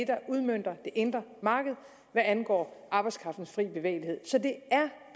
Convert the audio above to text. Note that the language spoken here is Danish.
der udmønter det indre marked hvad angår arbejdskraftens frie bevægelighed så det er